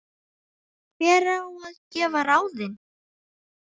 Hver á að gefa ráðin?